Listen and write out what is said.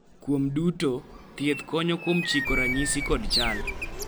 kuom duto, thieth konyo kuom chiko ranyisi kod chal